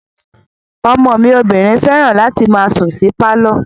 Ọmọ mi obìnrin fẹ́ràn láti máa sùn sí pálọ̀